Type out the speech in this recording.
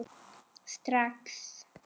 Strax